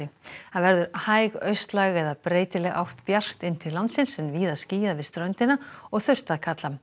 það verður hæg austlæg eða breytileg átt bjart inn til landsins en víða skýjað við ströndina og þurrt að kalla